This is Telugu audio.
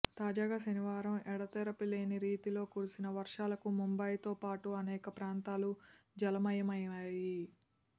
తాజాగా శనివారం ఎడతెరిపి లేని రీతిలో కురిసిన వర్షాలకు ముంబయితో పాటు అనేక ప్రాంతాలు జలమయమయ్యాయి